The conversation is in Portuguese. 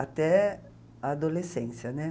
Até a adolescência, né?